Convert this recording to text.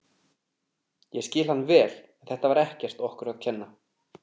Ég skil hann vel en þetta var ekkert okkur að kenna.